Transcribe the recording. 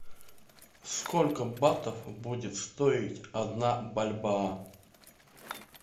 сколько батов будет стоить одна бальбоа